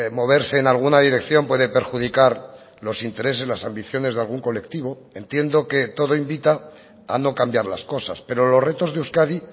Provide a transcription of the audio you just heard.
moverse en alguna dirección puede perjudicar los intereses las ambiciones de algún colectivo entiendo que todo invita a no cambiar las cosas pero los retos de euskadi